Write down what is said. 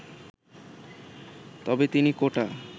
তবে তিনি কোটা